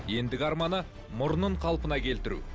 ендігі арманы мұрнын қалпына келтіру